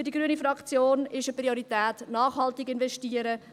Für die grüne Fraktion ist es eine Priorität, nachhaltig zu investieren.